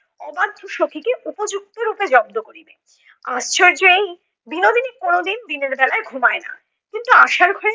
অবাধ্য সখীকে উপযুক্ত রূপে জব্দ করিবে। আশ্চর্য এই, বিনোদিনী কোনোদিন দিনের বেলায় ঘুমায় না, কিন্তু আশার ঘরে